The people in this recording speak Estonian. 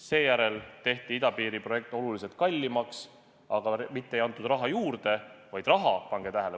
Seejärel tehti idapiiri projekt oluliselt kallimaks, aga mitte ei antud raha juurde, vaid – pange tähele!